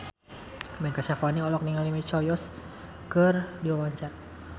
Ben Kasyafani olohok ningali Michelle Yeoh keur diwawancara